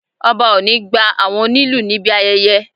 Ọba o ni gba àwọn onílù níbi ayẹyẹ